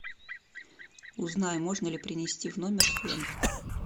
узнай можно ли принести в номер фен